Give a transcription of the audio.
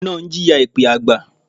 Ọkùnrin náà ń jìyà èpẹ́ àgbà.